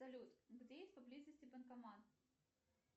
салют где есть поблизости банкомат